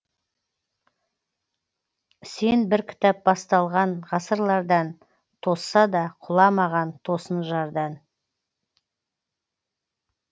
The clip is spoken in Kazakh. сен бір кітап басталған ғасырлардан тосса да құламаған тосын жардан